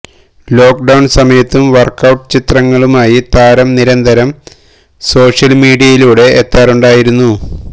lock down സമയത്തും workout ചിത്രങ്ങളുമായി താരം നിരന്തരം സോഷ്യൽ മീഡിയയിലൂടെ എത്താറുണ്ടായിരുന്നു